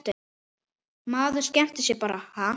Maður skemmtir sér bara ha?